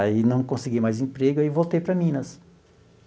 Aí não consegui mais emprego e aí voltei para Minas.